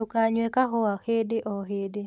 Ndũkanyue kahũa hĩndĩ o hĩndĩ